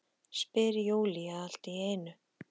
spyr Júlía allt í einu.